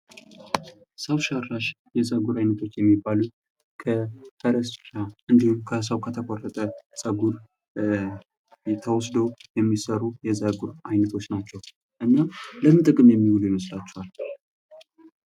ሰው ሰራሽ የፀጉር አይነቶች የሚባሉት ከፈረስ ጭራ እንዲሁም ከሰው ከተቆረጠ ፀጉር ተወስዶ የሚሰሩ የፀጉር አይነቶች ናቸው። እና ለምን ጥቅም የሚውሉ ይመስላቸኋል?